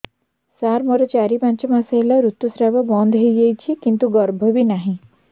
ସାର ମୋର ଚାରି ପାଞ୍ଚ ମାସ ହେଲା ଋତୁସ୍ରାବ ବନ୍ଦ ହେଇଯାଇଛି କିନ୍ତୁ ଗର୍ଭ ବି ନାହିଁ